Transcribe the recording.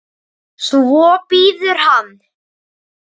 Svo bíður hann.